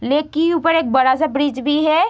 लेकी ऊपर एक बड़ा-सा ब्रिज भी है।